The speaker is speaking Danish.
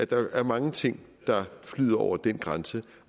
der er mange ting der flyder over den grænse